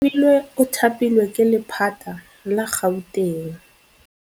Oarabile o thapilwe ke lephata la Gauteng.